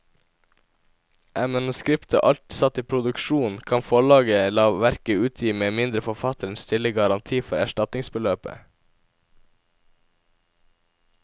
Er manuskriptet alt satt i produksjon, kan forlaget la verket utgi med mindre forfatteren stiller garanti for erstatningsbeløpet.